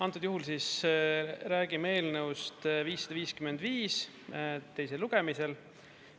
Antud juhul siis räägime eelnõust 555 teisel lugemisel.